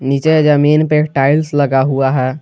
नीचे जमीन पे टाइल्स लगा हुआ है।